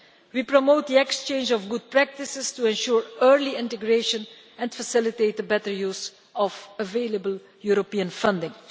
We promote the exchange of good practices to ensure early integration and facilitate the better use of available European funding.